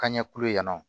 Ka ɲɛ kulu ye yan nɔ